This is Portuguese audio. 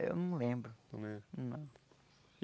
Eu não lembro. É? Não